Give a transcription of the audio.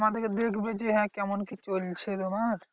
আমাদেরকে দেখবে যে হ্যাঁ কেমন কি চলছে তোমার?